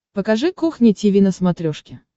покажи кухня тиви на смотрешке